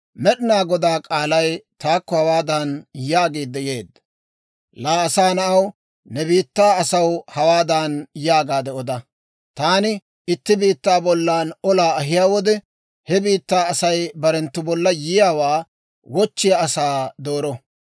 «Laa asaa na'aw, ne biittaa asaw hawaadan yaagaade oda; ‹Taani itti biittaa bollan olaa ahiyaa wode, he biittaa Asay barenttu bolla yiyaawaa wochchiyaa asaa dooro.